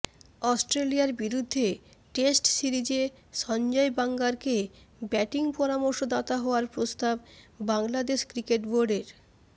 অস্ট্রেলিয়ার বিরুদ্ধে টেস্ট সিরিজে সঞ্জয় বাঙ্গারকে ব্যাটিং পরামর্শদাতা হওয়ার প্রস্তাব বাংলাদেশ ক্রিকেট বোর্ডের